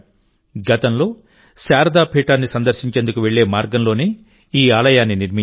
గతంలో శారదా పీఠాన్ని సందర్శించేందుకు వెళ్లే మార్గంలోనే ఈ ఆలయాన్ని నిర్మించారు